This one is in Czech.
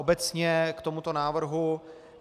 Obecně k tomuto návrhu.